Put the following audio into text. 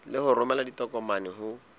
le ho romela ditokomane ho